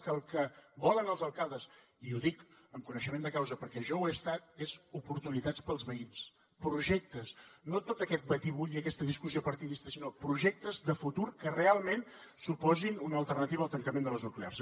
i que el que volen els alcaldes i ho dic amb coneixement de causa perquè jo ho he estat són oportunitats per als veïns projectes no tot aquest batibull i aquesta discussió partidista sinó projectes de futur que realment suposin una alternativa al tancament de les nuclears